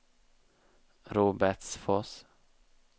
Robertsfors